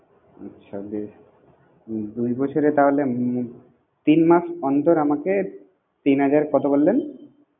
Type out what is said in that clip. আচ্ছা বেশ দুই বছরে তাহলে উম তিন মাস অন্তর আমাকে তিন হাজার কত বল্লেন?